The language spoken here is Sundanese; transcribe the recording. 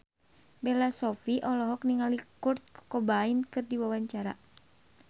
Bella Shofie olohok ningali Kurt Cobain keur diwawancara